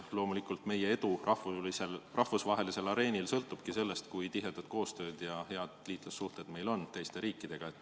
Loomulikult, meie edu rahvusvahelisel areenil sõltubki sellest, kui tihe koostöö ja head liitlassuhted meil on teiste riikidega.